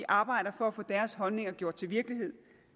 arbejder for at få deres holdninger gjort til virkelighed